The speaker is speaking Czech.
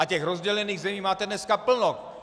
A těch rozdělených zemí máte dneska plno.